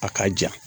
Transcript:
A ka jan